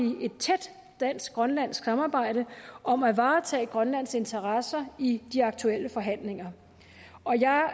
et tæt dansk grønlandsk samarbejde om at varetage grønlands interesser i de aktuelle forhandlinger og jeg har